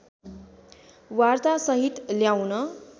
वार्ता सहित ल्याउन